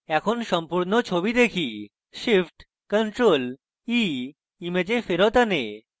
এখন সম্পূর্ণ ছবি দেখি shift + ctrl + e image ফেরৎ আনে